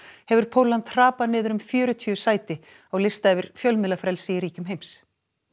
hefur Pólland hrapað niður um fjörutíu sæti á lista yfir fjölmiðlafrelsi í ríkjum heims